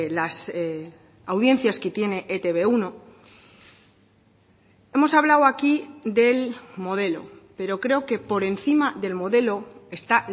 las audiencias que tiene e te be uno hemos hablado aquí del modelo pero creo que por encima del modelo está